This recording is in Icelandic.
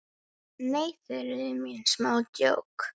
Nei, Þuríður mín, smá djók.